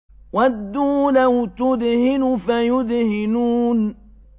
وَدُّوا لَوْ تُدْهِنُ فَيُدْهِنُونَ